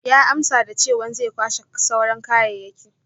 Ya amsa da chewan zai kwashe sauran kayayyaki.